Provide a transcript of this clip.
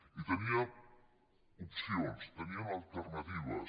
i tenien opcions tenien alternatives